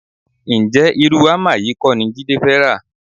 Ǹjẹ́ irú hámà yìí kọ́ ni Jídé fẹ́ rà?